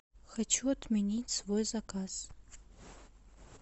хочу отменить свой заказ